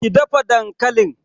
ki dafa dankalin!